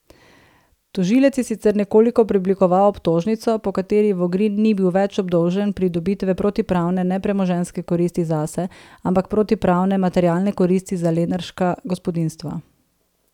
Tožilec je sicer nekoliko preoblikoval obtožnico, po kateri Vogrin ni bil več obdolžen pridobitve protipravne nepremoženjske koristi zase, ampak protipravne materialne koristi za lenarška gospodinjstva.